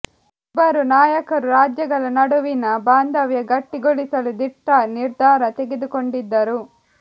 ಇಬ್ಬರು ನಾಯಕರು ರಾಜ್ಯಗಳ ನಡುವಿನ ಬಾಂಧವ್ಯ ಗಟ್ಟಿಗೊಳಿಸಲು ದಿಟ್ಟ ನಿರ್ಧಾರ ತೆಗೆದುಕೊಂಡಿದ್ದರು